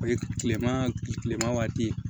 O ye tilema kilema waati ye